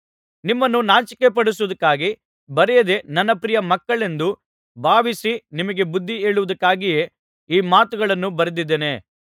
ನಿಮ್ಮನ್ನು ನಾಚಿಕೆಪಡಿಸುವುದಕ್ಕಾಗಿ ಬರೆಯದೆ ನನ್ನ ಪ್ರಿಯ ಮಕ್ಕಳೆಂದು ಭಾವಿಸಿ ನಿಮಗೆ ಬುದ್ಧಿ ಹೇಳುವುದಕ್ಕಾಗಿಯೇ ಈ ಮಾತುಗಳನ್ನು ಬರೆದಿದ್ದೇನೆ